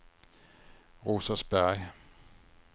Rosersberg